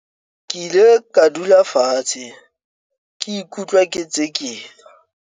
ke ile ka dula fatshe ke ikutlwa ke tsekela